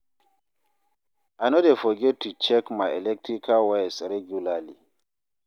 I no dey forget to check my electrical wires regularly.